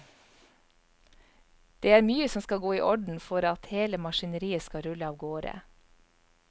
Det er mye som skal gå i orden for at hele maskineriet skal rulle avgårde.